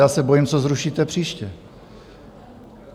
Já se bojím, co zrušíte příště.